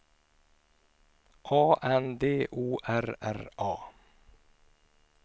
A N D O R R A